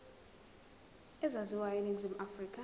ezaziwayo eningizimu afrika